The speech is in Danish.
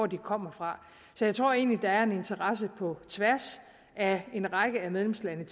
de kommer fra så jeg tror egentlig at der er en interesse på tværs af en række af medlemslandene